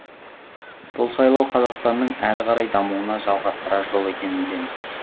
бұл сайлау қазақстанның әрі қарай дамуына жалғастырар жол екенін білеміз